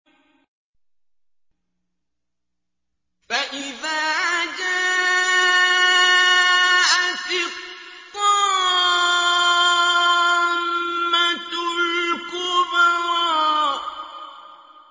فَإِذَا جَاءَتِ الطَّامَّةُ الْكُبْرَىٰ